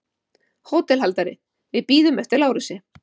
HÓTELHALDARI: Við bíðum eftir Lárusi.